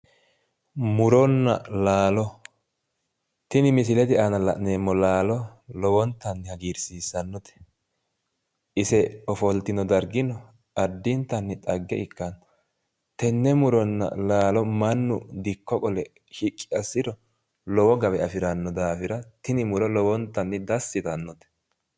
Muronna laalo tini misilete anaa la'neemmo laalalo lowotanni hagiirsiissannote ise ofoltino dargino addintanni dhagge ikkitanno tenne muronna laalo mannu dikko qole shiqqi assiro lowo gawe afiranno daafira tini muro lowontanni dasi yitanno.